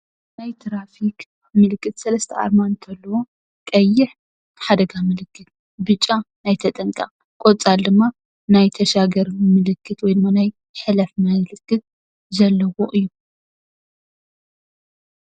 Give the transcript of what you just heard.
ናይ ትራፊክ ምልክት ሰለስተ ኣርማ እንትህልዎ ቀይሕ ሓደጋ ምልክት ፣ብጫ ናይ ተጠንቀቅ ፣ቆፃል ድማ ናይ ተሻገር ምልክት ወይ ድማ ናይ ሕለፍ መልእክቲ ዘለዎ እዩ።